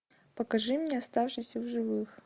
покажи мне оставшийся в живых